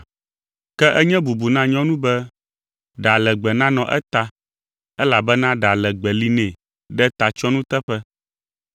Ke enye bubu na nyɔnu be ɖa legbe nanɔ eta elabena ɖa legbe li nɛ ɖe tatsyɔnu teƒe.